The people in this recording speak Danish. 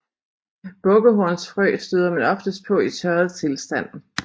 Bukkehornsfrø støder man oftest på i tørret tilstand